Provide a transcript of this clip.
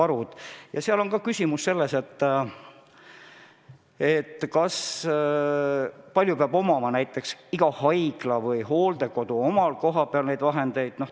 Küsimus on ka selles, kui palju peab igal haiglal ja hooldekodul omal neid vahendeid olema.